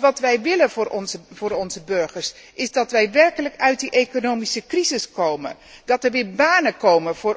Wat wij willen voor onze burgers, is dat wij werkelijk uit die economische crisis komen, dat er weer banen komen voor